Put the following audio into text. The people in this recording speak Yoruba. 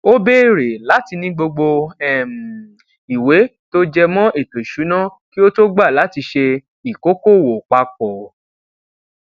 ó béèrè láti ní gbogbo um ìwé tó jẹ mọ ètò ìṣúná kí ó tó gbà láti ṣe ìkókòwò papọ